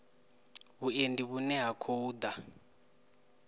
vhuendi vhune ha khou ḓa